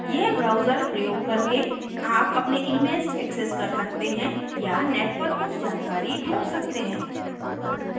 यह browser प्रयोग करके आप अपने emails access कर सकते हैं या net पर कुछ जानकारी ढूंन्ढ सकते हैं